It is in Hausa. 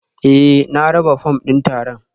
Eh na raba fom din taron